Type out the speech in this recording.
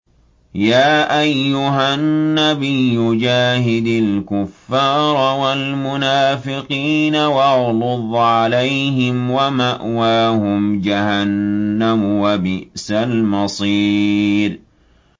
يَا أَيُّهَا النَّبِيُّ جَاهِدِ الْكُفَّارَ وَالْمُنَافِقِينَ وَاغْلُظْ عَلَيْهِمْ ۚ وَمَأْوَاهُمْ جَهَنَّمُ ۖ وَبِئْسَ الْمَصِيرُ